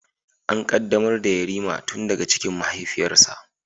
An qaddamar da Yarima tun daga cikin mahaifiyarsa